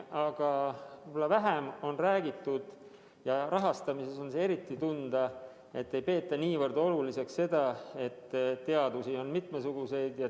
Aga võib-olla vähem on räägitud ja rahastamises on see ka tunda, et ei arvestata, et teadusi on mitmesuguseid.